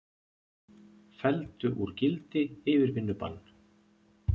Felldu úr gildi yfirvinnubann